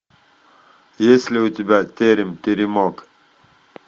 есть ли у тебя терем теремок